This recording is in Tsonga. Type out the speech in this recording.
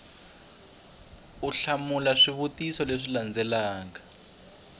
u hlamula swivutiso leswi landzelaka